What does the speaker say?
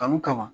Kanu kama